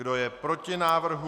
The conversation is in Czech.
Kdo je proti návrhu?